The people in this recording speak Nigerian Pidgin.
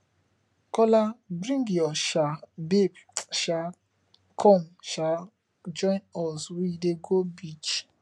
kola bring your um babe um come um join us we dey go beach